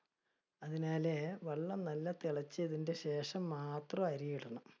അതിനാലെ, വെള്ളം നല്ല തിളച്ചതിന്റെ ശേഷം മാത്രം അരി ഇടണം.